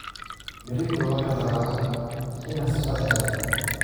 Berrito waxaan rabaa inaan safar aado